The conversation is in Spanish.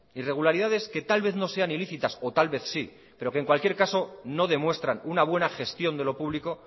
irregularidades que tal vez no sean ilícitas o tal vez sí pero en cualquier caso no demuestran una buena gestión de lo público